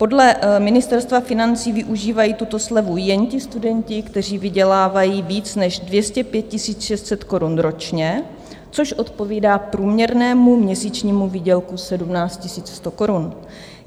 Podle Ministerstva financí využívají tuto slevu jen ti studenti, kteří vydělávají víc než 205 600 korun ročně, což odpovídá průměrnému měsíčnímu výdělku 17 100 korun.